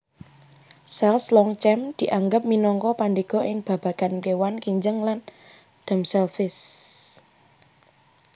Selys Longchamps dianggep minangka pandhéga ing babagan kéwan kinjeng land damselflies